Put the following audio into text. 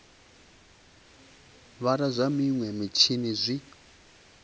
vala zwa minwe mitshini zwi